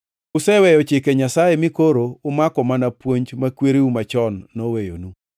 Useweyo Chike Nyasaye mi koro umako mana puonj ma kwereu machon noweyonu.”